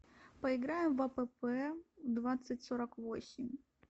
поиграем в апп двадцать сорок восемь